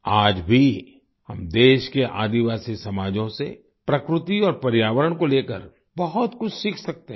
आज भी हम देश के आदिवासी समाजों से प्रकृति और पर्यावरण को लेकर बहुत कुछ सीख सकते हैं